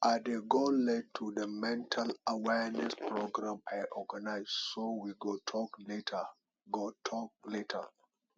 i dey go late to the mental awareness program i organize so we go talk later go talk later